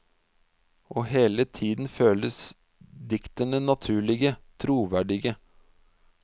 Og hele tiden føles diktene naturlige, troverdige.